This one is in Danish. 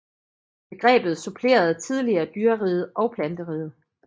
Begrebet supplerede tidligere dyreriget og planteriget